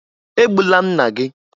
E gbula nna gị!